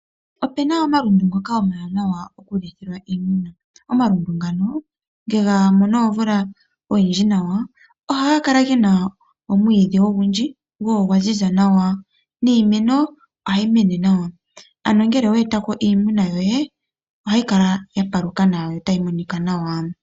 Opena omalundu ngoka omawananwa oku lithilwa iimuna. Omalundu ngano nge gamono mvula oyindji nawa oha ga kala gena omwiidhi ogundji go ogwa ziza nawa, niimeno oha yimene nawa. Ano ngele owa etako iimuna yoye oha yikala yapaluka nawa yo tayi monika nawa.